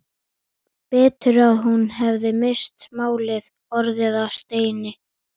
Betur að hún hefði misst málið, orðið að steini.